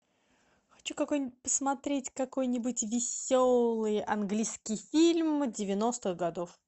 хочу какой нибудь посмотреть какой нибудь веселый английский фильм девяностых годов